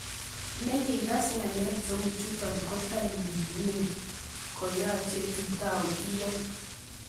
"ngikas ng'alek cheu chotok kotaiming'in koyache itau iyan,"